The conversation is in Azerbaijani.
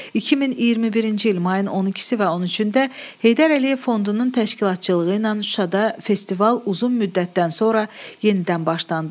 2021-ci il mayın 12-si və 13-də Heydər Əliyev fondunun təşkilatçılığı ilə Şuşada festival uzun müddətdən sonra yenidən başlandı.